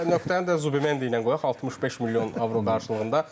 Və nöqtəni də Zubi Mendini ilə qoyaq 65 milyon avro qarşılığında.